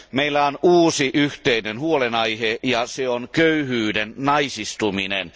Meillä on uusi, yhteinen huolenaihe ja se on köyhyyden naisistuminen.